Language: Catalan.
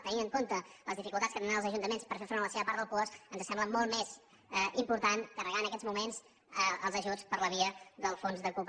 tenint en compte les dificultats que tindran els ajuntaments per fer front a la seva part del puosc ens sembla molt més important carregar en aquests moments els ajuts per la via del fons del cooperació